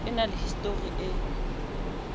e na le histori e